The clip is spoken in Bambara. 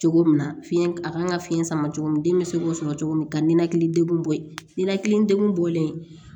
Cogo min na fiyɛn a kan ka fiɲɛ sama cogo min den bɛ se k'o sɔrɔ cogo min ka ninakili degun bɔ yen ninakili degun bɔlen